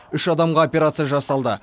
үш адамға операция жасалды